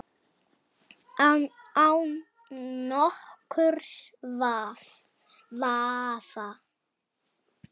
Án nokkurs vafa.